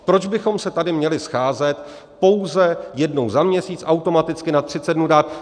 Proč bychom se tady měli scházet pouze jednou za měsíc, automaticky na 30 dnů dát...